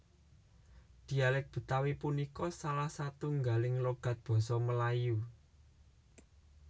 Dialék Betawi punika salah setunggaling logat basa Melayu